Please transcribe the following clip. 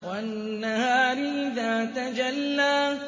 وَالنَّهَارِ إِذَا تَجَلَّىٰ